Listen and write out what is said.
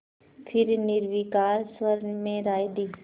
फिर निर्विकार स्वर में राय दी